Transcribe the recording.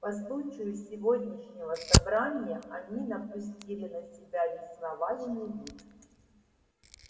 по случаю сегодняшнего собрания они напустили на себя весьма важный вид